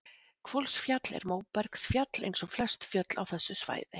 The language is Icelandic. Hvolsfjall er móbergsfjall eins og flest fjöll á þessu svæði.